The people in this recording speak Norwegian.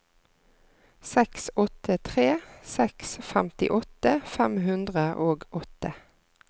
seks åtte tre seks femtiåtte fem hundre og åtte